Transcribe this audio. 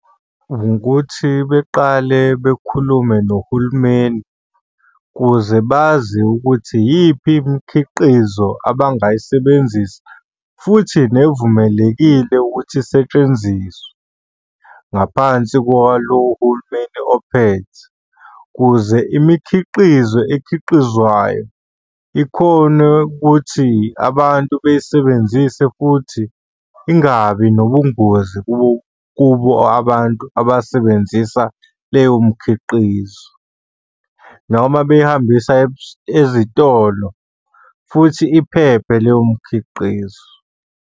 Ukuthi beqale bekhulume nohulumeni kuze bazi ukuthi iyiphi imikhiqizo abangayisebenzisa futhi nevumelekile ukuthi isetshenziswe ngaphansi kwalo hulumeni ophethe, kuze imikhiqizo ekhiqizwayo ikhone ukuthi abantu beyisebenzise futhi ingabi nobungozi kubo abantu abasebenzisa leyo mikhiqizo, noma beyihambisa ezitolo futhi iphephe leyo mikhiqizo.